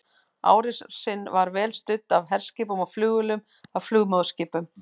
Árásin var vel studd af herskipum og flugvélum af flugmóðurskipum.